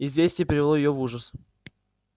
известие привело её в ужас